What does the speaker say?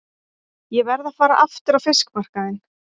Ég verð að fara aftur á fiskmarkaðinn.